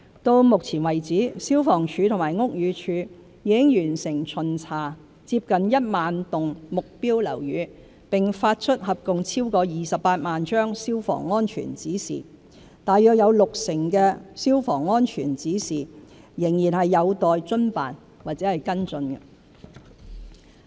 到目前為止，消防處和屋宇署已完成巡查近1萬幢目標樓宇並發出合共超過28萬張"消防安全指示"，有約六成的"消防安全指示"仍有待遵辦或跟進。